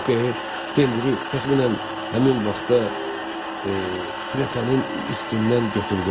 yox e, pendiri təxminən həmin vaxta plettanın üstündən götürdülər.